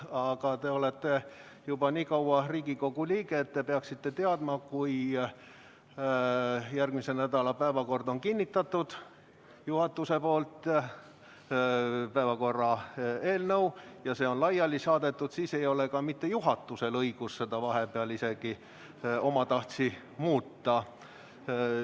Aga te olete juba nii kaua Riigikogu liige olnud, et te peaksite teadma, et kui järgmise nädala päevakorra eelnõu on juhatusel kinnitatud ja see on laiali saadetud, siis ei ole isegi juhatusel õigust seda vahepeal omatahtsi muuta.